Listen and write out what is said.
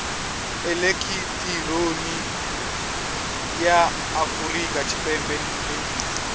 elekihironiki ya afurika tshipembe nemisa